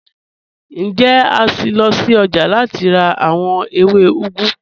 Njẹ̀, a ṣín lọ sí ọ́jà láti rà awọn èwé úgù?